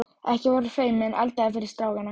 Ekki vera feiminn, eldaðu fyrir strákana.